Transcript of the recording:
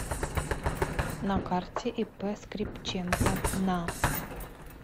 на карте ип скрипченко на